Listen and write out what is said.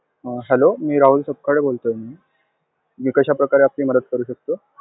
अं hello मी राहुल सपकाळे बोलतोय ma'am. मी कशाप्रकारे आपली मदत करू शकतो?